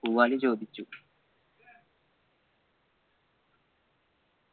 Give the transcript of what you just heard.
പൂവാലി ചോദിച്ചു